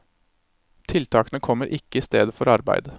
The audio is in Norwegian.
Tiltakene kommer ikke i stedet for arbeid.